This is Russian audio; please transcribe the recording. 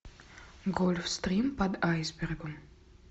гольфстрим под айсбергом